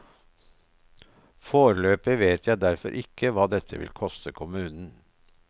Foreløpig vet jeg derfor ikke hva dette vil koste kommunen.